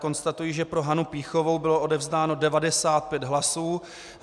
Konstatuji, že pro Hanu Pýchovou bylo odevzdáno 95 hlasů.